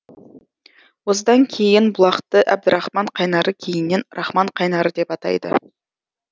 осыдан кейін бұлақты әбдірахман қайнары кейіннен рахман қайнары деп атайды